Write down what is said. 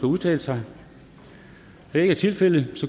udtale sig da det ikke er tilfældet